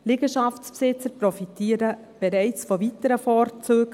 Liegenschaftsbesitzer profitieren bereits von weiteren Vorzügen.